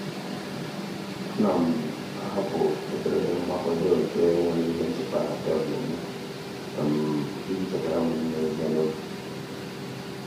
a na m um ahapụ ederede mmapado nke nwere ihe ncheta na tebụl mụ iji chetara m ime ihe um n'oge.